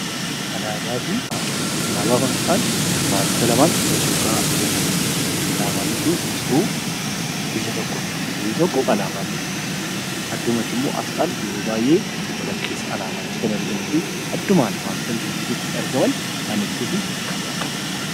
Alaabaa fi aasxaa. Alaabaa fi aasxaan wantoota lamaan wal faana deemaniidha. Alaabaa jechuun ibsituu biyya tokkooti. Biyyi tokko alaabaa isheetiin bulti. Addummatti immoo aasxaan yeroo baayyee alaabaa gidduutti kan argamuu fi addumaan wantoota biyyattii keessatti argaman kan ibsuu fi kan bakka bu'uudha.